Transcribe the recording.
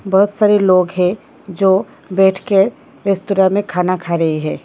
बहुत सारे लोग हैं जो बैठकर रेस्टूरा में खाना खा रही है।